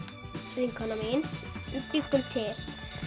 vinkona mín bjuggum til